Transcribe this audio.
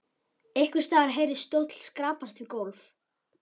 Einhvers staðar heyrðist stóll skrapast við gólf.